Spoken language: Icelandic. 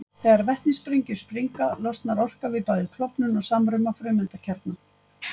Hann bjó þá, eins og reyndar öll síðustu ár sín, í turni gömlu slökkvistöðvarinnar í